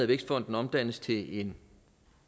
vækstfonden omdannes til en